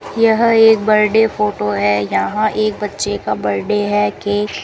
यह एक birthday photo है यहां एक बच्चे का बर्डे है केक --